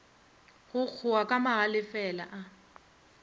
go kgowa ka magalefela a